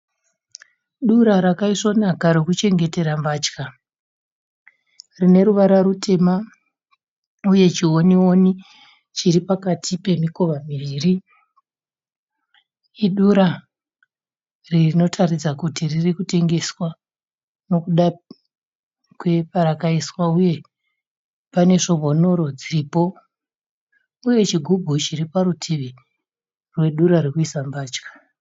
Dura rakaisvonaka rekuchengetera mbatya, rine ruvara rutema uye chiwoniwoni chiripakati pemikova miviri, idura rinotaridza kuti riri kutengeswa nokuda kweparakaiswa uye pane svombonoro dziripo uye chigubhu chiri parutivi rwedura rekuisa mbatya.